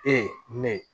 Ee ne ye